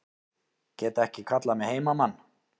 Get ekki kallað mig heimamann